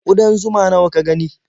Ƙudan zuma nawa ka gani?